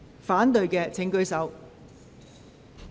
反對的請舉手。